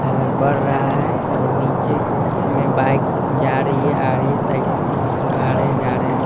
है बढ़ रहा है और नीचे में बाइक जा रही है आ रही है साइकिल से कुछ लोग आ रहे हैं जा रहे हैं।